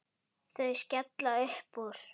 Þau skella upp úr.